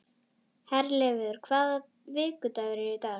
Herleifur, hvaða vikudagur er í dag?